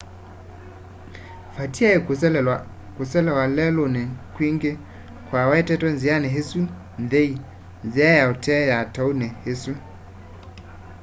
vatiaĩ kũselew'a lelũnĩ kwingĩ kwawetetwe nzĩanĩ ĩsu nthei nzĩa ya ũtee ya taũni ĩsu